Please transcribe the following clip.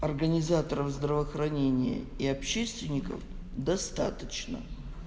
организаторов здравоохранения и общественников достаточно